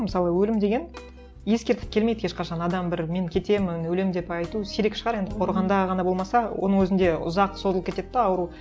мысалы өлім деген ескертіп келмейді ешқашан адам бір мен кетемін өлемін деп айту сирек шығар енді қорғанда ғана болмаса оның өзінде ұзақ созылып кетеді де ауру